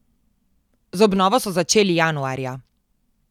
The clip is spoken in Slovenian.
Z obnovo so začeli januarja.